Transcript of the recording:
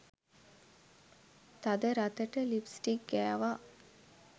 තද රතට ලිප්ස්ටික් ගෑවා.